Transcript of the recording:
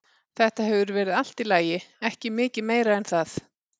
Þetta hefur verið allt í lagi, ekki mikið meira en það.